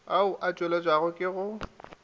ao a tšweletšwago ke yo